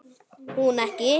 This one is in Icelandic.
Hún ekki.